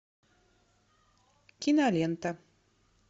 кинолента